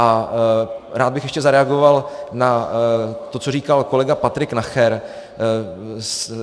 A rád bych ještě zareagoval na to, co říkal kolega Patrik Nacher.